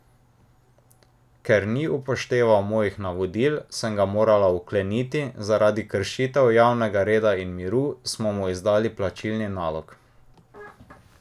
Ker ni upošteval mojih navodil, sem ga morala vkleniti, zaradi kršitev javnega reda in miru smo mu izdali plačilni nalog.